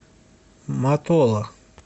матола